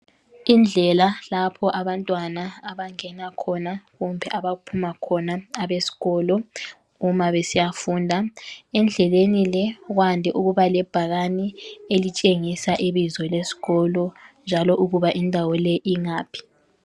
Indlela lapho abantwana abangena khona. Kumbe abaphuma khona abesikolo, uma besiyafunda. Endleleni le, kwande ukuba lebhakane, elitshengisa ibizo lesikolo, njalo ukuba indawo le, ingaphi.